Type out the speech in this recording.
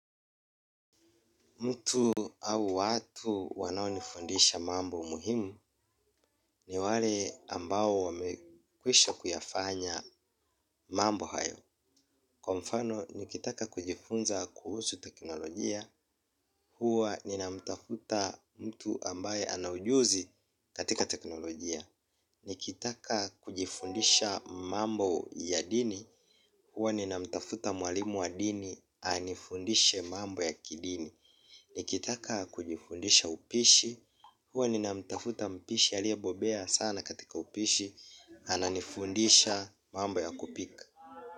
Mtu au watu wanao nifundisha mambo muhimu ni wale ambao wamekwisha kuyafanya mambo hayo. Kwa mfano, nikitaka kujifunza kuhusu teknolojia, huwa ninamtafuta mtu ambaye anajuzi katika teknolojia. Nikitaka kujifundisha mambo ya dini, huwa ninamtafuta mwalimu wa dini, anifundishe mambo ya kidini. Ni kitaka kujifundisha upishi. Huwa nina mtafuta mpishi aliye bobea sana katika upishi ana nifundisha mambo ya kupika.